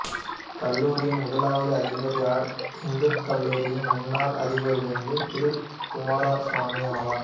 கல்லூரியின் முதலாவது அதிபர் யாழ் இந்துக் கல்லூரியின் முன்னாள் அதிபராயிருந்து திரு குமாரசுவாமி ஆவார்